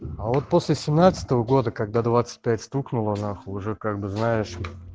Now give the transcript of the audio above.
а вот после семнадцатого года когда двадцать пять стукнуло нахуй уже как бы знаешь